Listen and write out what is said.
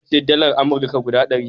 Nawa ce dalar Amurka guda ɗari?